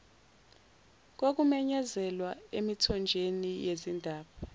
kokumenyezelwa emithonjeni yezindaba